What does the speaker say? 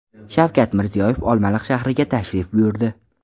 Shavkat Mirziyoyev Olmaliq shahriga tashrif buyurdi.